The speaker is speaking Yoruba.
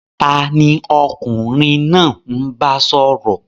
Tani ọkunrin naa n ba sọrọ?